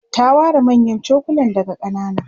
ta ware manyan chokulan daga kanana